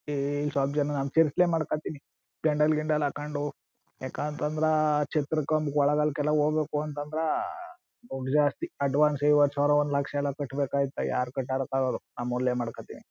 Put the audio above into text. ಈ ಸ್ವಲ್ಪ ಜನ ಮಾಡ್ಕತಿನಿ ಪೆಂಡಾಲ್-ಗಿಂಡಲ್ ಹಾಕ್ಕೊಂಡು ಯಾಕಂತ ಅಂತ ಅಂದ್ರ ಛತ್ರಕ್ ಒಂದ್ ಹೋಗ್ಬೇಕು ಅಂತ ಅಂದ್ರೆ ದೊಡ್ದು ಜಾಸ್ತಿ. ಅಡ್ವಾನ್ಸ್ ಐವತ್ತು ಸಾವಿರ ಒಂದ್ ಲಕ್ಷ ಎಲ್ಲ ಕಟ್ಟಬೇಕಾಗುತ್ತೆ ಯಾರ್ ಕಟ್ಟರೋ ನಮ್ ಊರ್ಲ್ಲೇ ಮಾಡ್ಕೊತೀನಿ.